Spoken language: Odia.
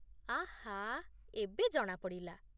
ଆହା, ଏବେ ଜଣାପଡ଼ିଲା